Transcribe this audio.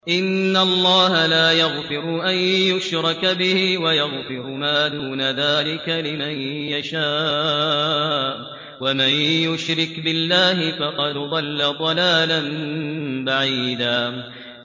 إِنَّ اللَّهَ لَا يَغْفِرُ أَن يُشْرَكَ بِهِ وَيَغْفِرُ مَا دُونَ ذَٰلِكَ لِمَن يَشَاءُ ۚ وَمَن يُشْرِكْ بِاللَّهِ فَقَدْ ضَلَّ ضَلَالًا بَعِيدًا